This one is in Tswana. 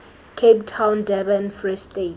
cape town durban free state